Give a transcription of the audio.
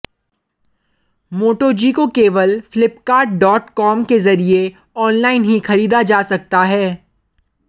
मोटो G को केवल Flipkart dot com के जरिए ऑनलाइन ही खरीदा जा सकता है